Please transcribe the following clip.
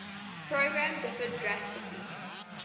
program differed drastically